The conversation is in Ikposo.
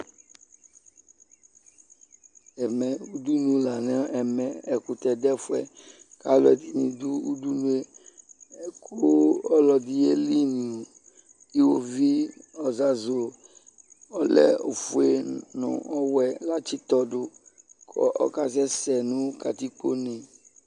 Ɛmɛ, udunu la n'ɛmɛ, ɛkʋtɛ du ɛfʋɛ k'alʋ ɛdini du udunu yɛ Ɔlɔdi yelinʋ ihovi ozazʋ ɔlɛ ofue nʋ ɔwɛ latsitɔdu kʋ ɔkasɛsɛ nʋ katikpo ne